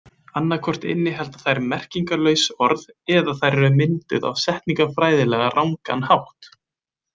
Annaðhvort innihalda þær merkingarlaus orð eða þær eru mynduð á setningafræðilega rangan hátt.